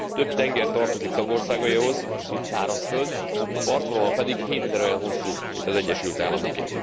Több tenger tartozik tagországaihoz, mint szárazföld, partvonala pedig hétszer olyan hosszú, mint az Egyesült Államoké.